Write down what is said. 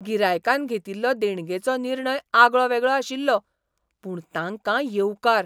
गिरायकान घेतिल्लो देणगेचो निर्णय आगळो वेगळो आशिल्लो, पूण तांकां येवकार .